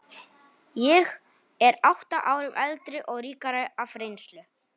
Ég er átta árum eldri og ríkari af reynslu.